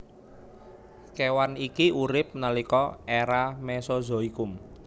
Kèwan iki urip nalika èra Mesozoikum